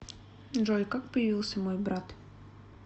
джой как появился мой брат